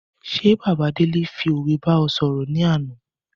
Ṣé bàbá Délé fi òwe bá ẹ sọ̀rọ̀ ní àná